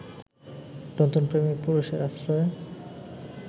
নতুন প্রেমিক-পুরুষের আশ্রয়ে